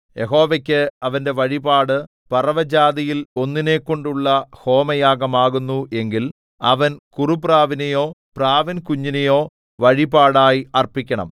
യഹോവയ്ക്ക് അവന്റെ വഴിപാട് പറവജാതിയിൽ ഒന്നിനെക്കൊണ്ടുള്ള ഹോമയാഗമാകുന്നു എങ്കിൽ അവൻ കുറുപ്രാവിനെയോ പ്രാവിൻകുഞ്ഞിനെയോ വഴിപാടായി അർപ്പിക്കണം